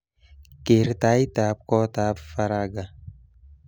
Ker taitab kotab Faragha